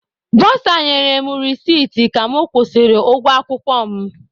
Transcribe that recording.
Bọsa nyere m resiti ka mụ kwụsịrị ụgwọ akwụkwọ m.